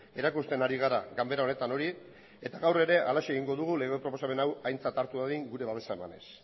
erakusten ari gara ganbara honetan hori eta gaur ere halaxe egingo dugu lege proposamen hau aintzat hartu dadin gure babesa emanez